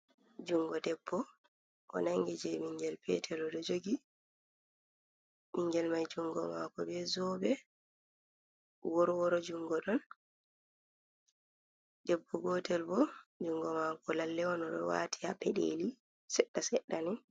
Juungo debbo o nangi je ɓingel peetel oɗo joogi, ɓingel mai juungo maako be zobe wor woro juungo ɗon, debbo gootel bo juungo maako lalle on oɗo waati ha peɗeli seɗɗa seɗɗa ni.